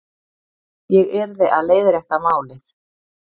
Ég yrði að leiðrétta málið.